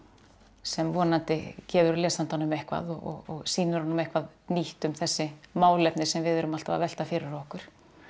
sem vonandi gefur lesandanum eitthvað og sýnir honum eitthvað nýtt um þessi málefni sem við erum alltaf að velta fyrir okkur